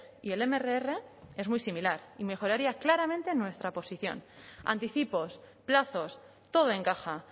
y el mrr es muy similar y mejoraría claramente nuestra posición anticipos plazos todo encaja